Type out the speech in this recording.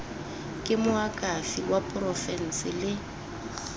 ke moakhaefe wa porofense le